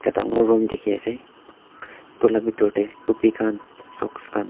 dangor room dikhiase edu la bitor tae topi khan socks khan.